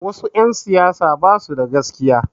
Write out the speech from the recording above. Wasu 'yan siyasa ba su da gaskiya.